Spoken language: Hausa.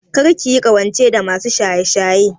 Kar ki yi ƙawance da masu shaye-shaye!